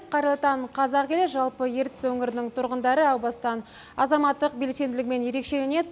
қайырлы таң қазақ елі жалпы ертіс өңірінің тұрғындары әу бастан азаматтық белсенділігімен ерекшеленеді